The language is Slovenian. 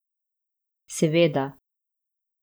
Seveda.